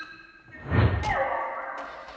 Fólk er grátandi og skelfingu lostið